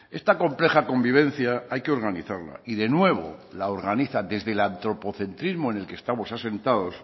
esta compleja convivencia hay que organizarla y de nuevo la organiza desde el antropocentrismo en el que estamos asentados